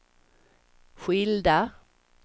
skilda